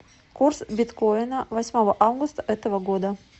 курс биткоина восьмого августа этого года